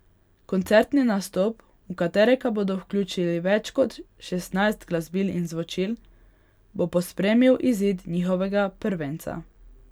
Koncertni nastop, v katerega bodo vključili več kot šestnajst glasbil in zvočil, bo pospremil izid njihovega prvenca.